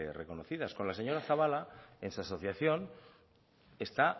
reconocidas con la señora zabala en su asociación está